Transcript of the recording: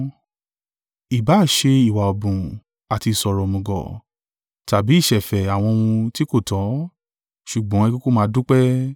Ìbá à ṣe ìwà ọ̀bùn, àti ìṣọ̀rọ̀ òmùgọ̀, tàbí ìṣẹ̀fẹ̀ àwọn ohun tí kò tọ́; ṣùgbọ́n ẹ kúkú máa dúpẹ́.